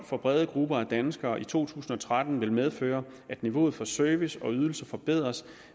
for brede grupper af danskere i to tusind og tretten vil medføre at niveauet for service og ydelser forbedres